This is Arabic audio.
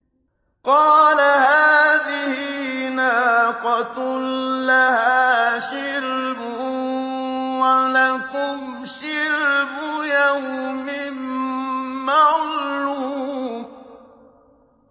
قَالَ هَٰذِهِ نَاقَةٌ لَّهَا شِرْبٌ وَلَكُمْ شِرْبُ يَوْمٍ مَّعْلُومٍ